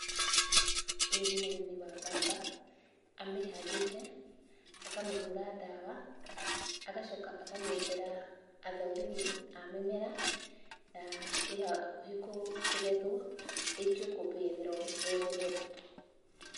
Ũyũ nĩ mũrĩmi wa mbamba, amĩhandĩte, akamĩhũra dawa, agacoka akamĩethera athũrimi a mĩmera na ĩ hakuhĩ kũgethwo, ĩikio ikũmbĩ yetherwo, yetherwo thoko